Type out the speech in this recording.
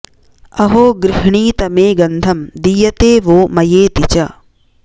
अहो गृह्णीत मे गन्धं दीयते वो मयेति च